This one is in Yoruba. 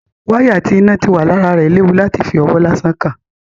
Wáyà tí iná ti wà lára rẹ̀ léwu láti fi ọwọ́ lásán kàn.